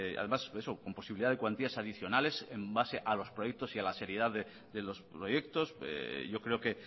además eso con posibilidad de cuantías adicionales en base a los proyectos y a la seriedad de los proyectos yo creo que